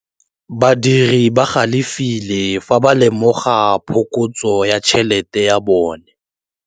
Badiri ba galefile fa ba lemoga phokotsô ya tšhelête ya bone.